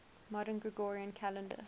modern gregorian calendar